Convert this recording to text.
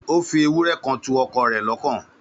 Ó fi ewúrẹ́ kan tu ọkọ rẹ̀ lọ́kàn